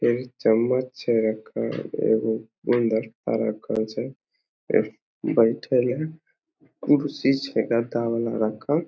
इ चम्मच छे रखल एगो छे इ बइठल है कुर्सी छकै गद्दा वाला रखल।